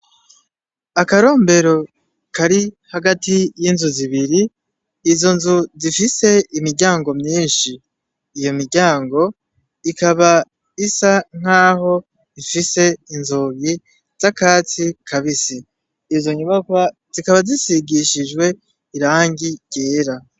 Akarombero kari hagati y'inzu zibiri izo nzu zifise imiryango myinshi iyo miryango ikaba isa nk'aho ifise inzogi z'akatsi kabise izo nyubakwa zikaba zisigishijwe irangi ryee.